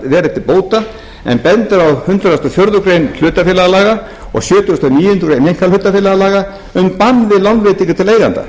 að vera til bóta en bendir á hundrað og fjórðu grein hlutafélaga laga og sjötugasta og níundu grein einkahlutafélagalaga um bann við lánveitingum til eigenda